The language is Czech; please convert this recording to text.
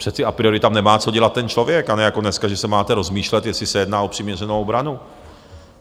Přece a priori tam nemá co dělat ten člověk, a ne jako dneska, že se máte rozmýšlet, jestli se jedná o přiměřenou obranu.